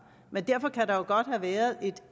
men derfor kan der jo godt have været et